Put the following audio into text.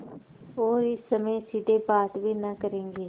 और इस समय सीधे बात भी न करेंगे